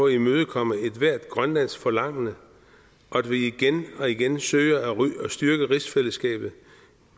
imødekomme ethvert grønlandske forlangende og at vi igen og igen søger at styrke rigsfællesskabet